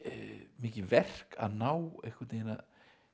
mikið verk að ná að